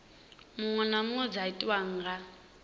muṅwe kana dza tiwa nga